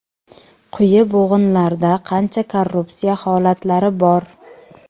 Quyi bo‘g‘inlarda qancha korrupsiya holatlari bor.